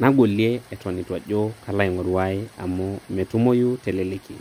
nagolie eton etu ajo kalo aingoru ae amu metumoyu teleleki.